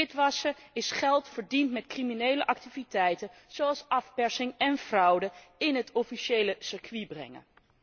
Witwassen is geld, verdiend met criminele activiteiten zoals afpersing en fraude, in het officiële circuit brengen.